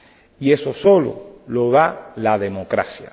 Y eso solo lo da la democracia.